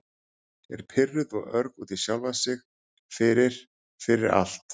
Er pirruð og örg út í sjálfa sig fyrir- fyrir allt.